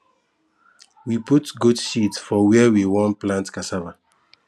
we put goat shit for where we won plant cassava